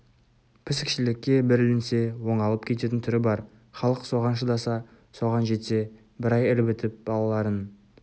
пісікшілікке бір ілінсе оңалып кететін түрі бар халық соған шыдаса соған жетсе бір ай ілбітіп балаларын